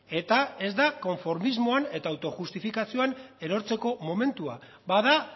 eta ez da konformismoan eta autojustifikazioan erortzeko momentua bada